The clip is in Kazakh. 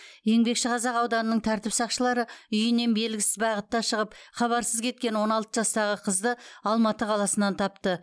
еңбекшіқазақ ауданының тәртіп сақшылары үйінен белгісіз бағытта шығып хабарсыз кеткен он алты жастағы қызды алматы қаласынан тапты